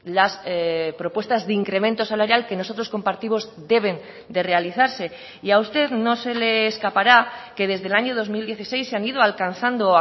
las propuestas de incremento salarial que nosotros compartimos deben de realizarse y a usted no se le escapará que desde el año dos mil dieciséis se han ido alcanzando